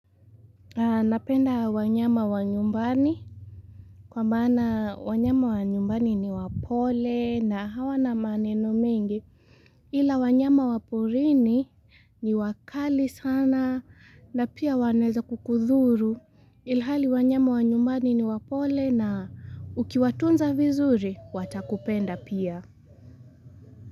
Napenda wanyama wa nyumbani kwa maana wanyama wa nyumbani ni wapole na hawana maneno mengi ila wanyama wa porini ni wakali sana na pia wanaeza kukudhuru ilhali wanyama wa nyumbani ni wapole na ukiwatunza vizuri watakupenda pia.